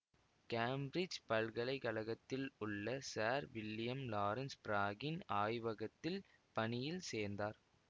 Cambridge பல்கலை கழகத்தில் உள்ள சார் வில்லியம் லாரன்ஸ் ப்ராகின் ஆய்வகத்தில் பணியில் சேர்ந்தார்